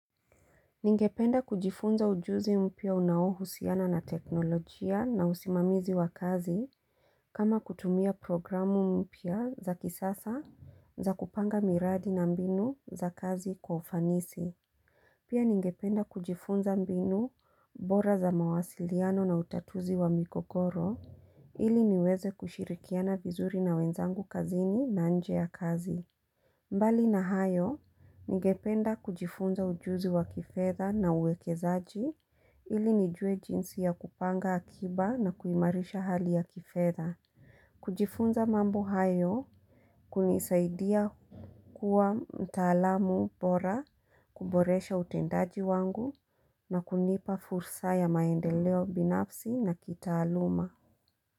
Ningependa kujifunza ujuzi mpya unaohusiana na teknolojia na usimamizi wa kazi kama kutumia programu mpya za kisasa za kupanga miradi na mbinu za kazi kwa ufanisi. Pia ningependa kujifunza mbinu bora za mawasiliano na utatuzi wa mikogoro ili niweze kushirikiana vizuri na wenzangu kazini na nje ya kazi. Mbali na hayo, ningependa kujifunza ujuzi wa kifedha na uwekezaji ili nijue jinsi ya kupanga akiba na kuimarisha hali ya kifedha. Kujifunza mambo hayo, kunisaidia kuwa mtaalamu bora, kuboresha utendaji wangu na kunipa fursa ya maendeleo binafsi na kitaaluma.